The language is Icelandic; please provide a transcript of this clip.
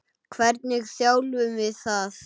Hvernig þjálfum við það?